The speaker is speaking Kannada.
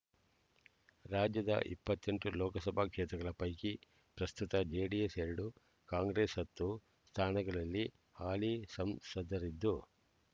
ರಾಜ್ಯದ ಇಪ್ಪತ್ತೆಂಟು ಲೋಕಸಭಾ ಕ್ಷೇತ್ರಗಳ ಪೈಕಿ ಪ್ರಸ್ತುತ ಜೆಡಿಎಸ್ ಎರಡು ಕಾಂಗ್ರೆಸ್ ಹತ್ತು ಸ್ಥಾನಗಳಲ್ಲಿ ಹಾಲಿ ಸಂಸದರಿದ್ದು